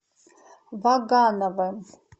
вагановым